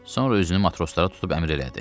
Sonra üzünü matroslara tutub əmr elədi.